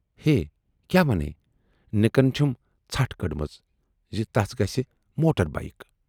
ہے! کیاہ ونے نِکن چھَم ژھٹھ کٔڈمٕژ زِ تَس گژھِ موٹر بایِک۔